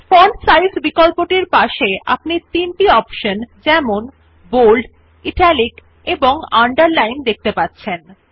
font size বিকল্পটির পাশে আপনি তিনটি অপশন যেমন বোল্ড ইটালিক এবং আন্ডারলাইন দেখতে পাবেন